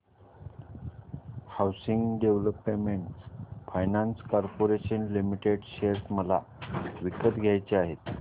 housing development finance corporation limited share मला विकत घ्यायचे आहेत